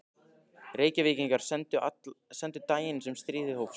Reykvíkingar sendingu daginn sem stríðið hófst.